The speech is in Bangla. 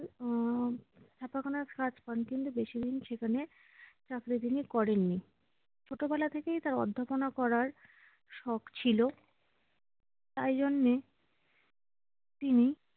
আহ ছাপাখানায় কাজ পান কিন্তু বেশিদিন সেখানে চাকরি তিনি করেননি। ছোটবেলা থেকেই তার অধ্যাপনা করার শখ ছিল। তাই জন্যে উম